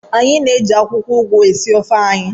Anyị na-eji akwụkwọ ugu esi ofe anyị.